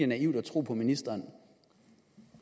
naivt at tro på ministeren